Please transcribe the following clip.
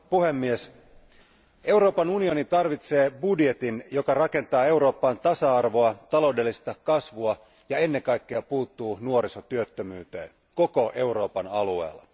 Arvoisa puhemies, Euroopan unioni tarvitsee budjetin, joka rakentaa Eurooppaan tasa arvoa, taloudellista kasvua ja ennen kaikkea puuttuu nuorisotyöttömyyteen koko Euroopan alueella.